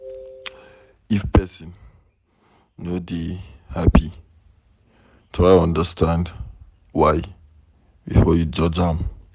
If pesin no dey happy, try understand why before you judge am.